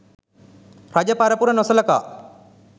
රජ පරපුර නොසලකා